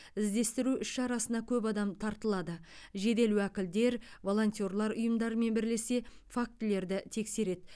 іздестіру іс шарасына көп адам тартылады жедел уәкілдер волонтерлар ұйымдарымен бірлесе фактілерді тексереді